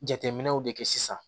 Jateminɛw de kɛ sisan